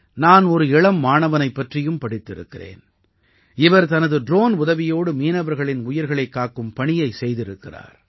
நான் ஒரு இளம் மாணவனைப் பற்றியும் படித்திருக்கிறேன் இவர் தனது ட்ரோன் உதவியோடு மீனவர்களின் உயிர்களைக் காக்கும் பணியைச் செய்திருக்கிறார்